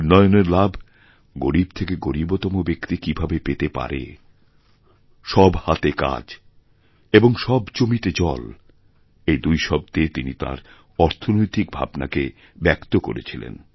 উন্নয়নের লাভ গরীব থেকেগরীবতম ব্যক্তি কী ভাবে পেতে পারে সব হাতে কাজ এবং সব জমিতে জল এই দুই শব্দেতিনি তাঁর অর্থনৈতিক ভাবনাকে ব্যক্ত করেছিলেন